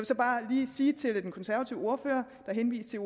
så bare lige sige til den konservative ordfører der henviste